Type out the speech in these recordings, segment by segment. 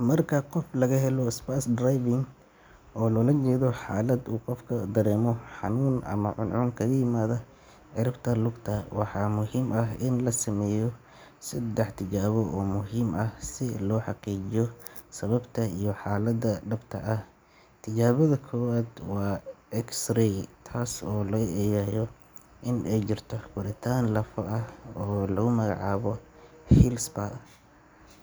Marka qof laga helo spurs driving, oo loola jeedo xaalad uu qofku dareemo xanuun ama cuncun kaga yimaada ciribta lugta, waxaa muhiim ah in la sameeyo saddex tijaabo oo muhiim ah si loo xaqiijiyo sababta iyo xaalada dhabta ah. Tijaabada koowaad waa X-ray, taas oo lagu eegayo in ay jirto koritaan lafo ah oo lagu magacaabo heel spur,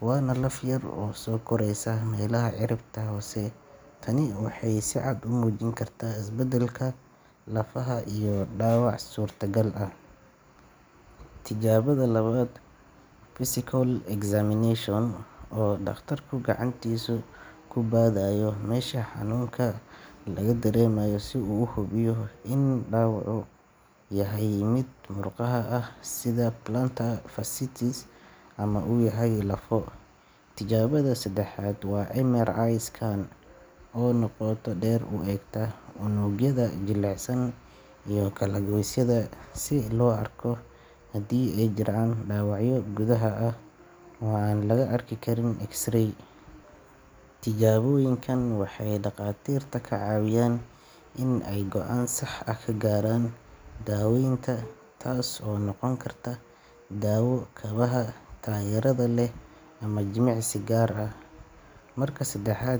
waana laf yar oo soo koraysa meelaha ciribta hoose. Tani waxay si cad u muujin kartaa isbeddelka lafaha iyo dhaawac suurtagal ah. Tijaabada labaad waa physical examination oo dhakhtarku gacantiisa ku baadhayo meesha xanuunka laga dareemayo si uu u hubiyo in dhaawacu yahay mid murqaha ah sida plantar fasciitis ama uu yahay lafo. Tijaabada saddexaad waa MRI scan oo si qoto dheer u eegta unugyada jilicsan iyo kala-goysyada, si loo arko haddii ay jiraan dhaawacyo gudaha ah oo aan laga arki karin X-ray. Tijaabooyinkan waxay dhakhaatiirta ka caawiyaan in ay go’aan sax ah ka gaaraan daaweynta, taasoo noqon karta daawo, kabaha taageerada leh ama jimicsi gaar ah. Marka saddexad.